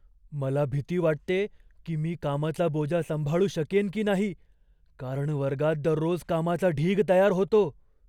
मला भीती वाटते की मी कामाचा बोजा सांभाळू शकेन की नाही, कारण वर्गात दररोज कामाचा ढीग तयार होतो.